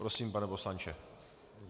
Prosím, pane poslanče.